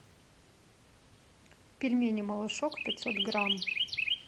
пельмени малышок пятьсот грамм